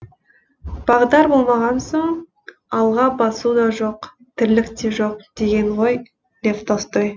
бағдар болмаған соң алға басу да жоқ тірлік те жоқ деген ғой лев толстой